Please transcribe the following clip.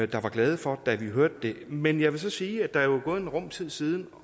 der var glade for da vi hørte det men jeg vil så sige at der jo er gået en rum tid siden